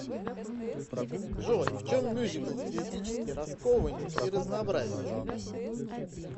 джой в чем мюзикл стилистически раскованнее и разнообразнее